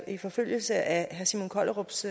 i forlængelse af herre simon kollerups